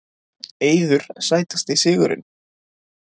Eiður Sætasti sigurinn?